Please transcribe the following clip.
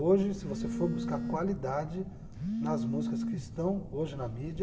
Hoje, se você for buscar qualidade nas músicas que estão hoje na mídia,